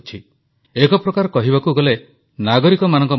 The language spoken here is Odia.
ଦୁଇ ଗଜ ଦୂରତା ଓ ମାସ୍କ କରୋନାକୁ ପରାସ୍ତ କରିବା ପାଇଁ ଏକାନ୍ତ ଜରୁରି ପ୍ରଧାନମନ୍ତ୍ରୀ